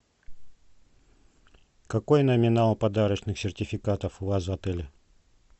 какой номинал подарочных сертификатов у вас в отеле